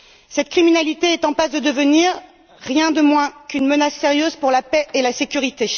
Cette criminalité est en passe de devenir rien de moins qu'une menace sérieuse pour la paix et la sécurité.